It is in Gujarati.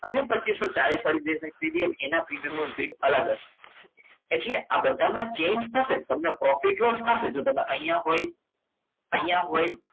અને પચીસો ચાલીસ વાળી સાઈડ લીધી હોય તો એની સ્પીડ અલગ હશે એટલે આ બધામાં change થશે પણ તમને profit loss નહીં થશે જો તમે અહીંયા કોઈ અહીંયા કોઈ